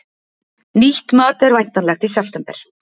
Nýtt mat er væntanlegt í september